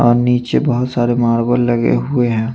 और नीचे बाहोत सरे मार्बल लगे हुए है।